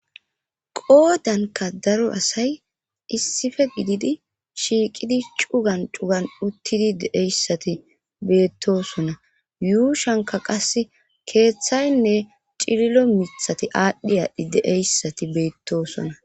qoodanka daro asay issife gididi shiiqidi cugan cugan uttidi de7eyssati beettosona yuushanka qas keeththaynne cililo mithati aadhdhi aadhdhi deeyssati beettosona